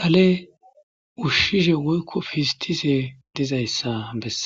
dhale ushishe dizayissa besses